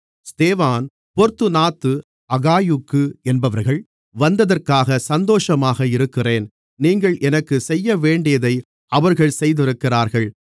ஸ்தேவான் பொர்த்துனாத்து அகாயுக்கு என்பவர்கள் வந்ததற்காகச் சந்தோஷமாக இருக்கிறேன் நீங்கள் எனக்குச் செய்யவேண்டியதை அவர்கள் செய்திருக்கிறார்கள்